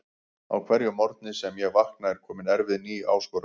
Á hverjum morgni sem ég vakna er komin erfið ný áskorun.